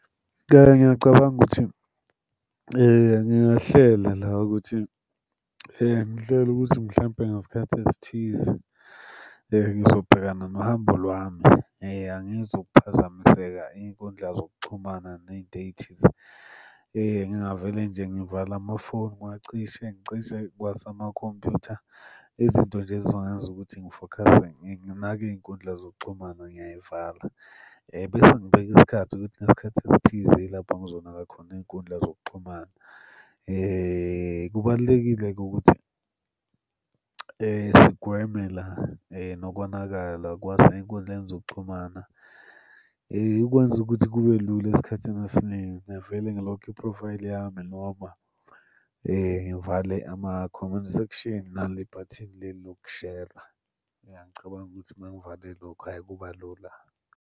Ngiyacabanga ukuthi ngingahlela la ukuthi ngihlele ukuthi mhlampe ngesikhathi esithize ngizobhekana nohambo lwami angizukuphazamiseka iy'nkundla zokuxhumana ney'nto ey'thize. Ngingavele nje ngivale amafoni ngiwacishe, ngicishe kwasamakhompuyutha. Izinto nje ezizongenza ukuthi ngifokhase nginake iy'nkundla zokuxhumana ngiyay'vala. Bese ngibeka isikhathi ukuthi ngesikhathi esithize yilapho ngizonaka khona iy'nkundla zokuxhumana. Kubalulekile-ke ukuthi sigweme la nokonakala kwasey'nkundleni zokuxhumana. Ukwenza ukuthi kube lula esikhathini esiningi ngingavele ngilokhe iphrofayili yami noma ngivale ama-comment section nale bhathini leli lokushera. Ngiyacabanga ukuthi uma ngivale lokho, hhayi kuba lula.